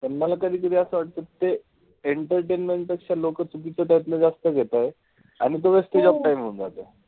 मला कधी-कधी असं वाटत कि ते entertaintment पेक्षा लोक त्याच्यातन चुकीचं जास्त घेतात. आणि तो wastage of time होतोय.